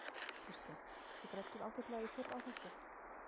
Kristján: Þið grædduð ágætlega í fyrr á þessu?